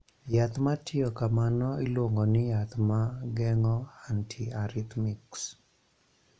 Yath ma timo kamano iluongo ni yath ma geng�o antiarrhythmics.